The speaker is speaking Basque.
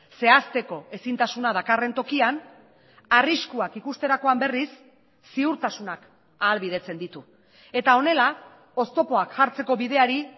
zehazteko ezintasuna dakarren tokian arriskuak ikusterakoan berriz ziurtasunak ahalbidetzen ditu eta honela oztopoak jartzeko bideari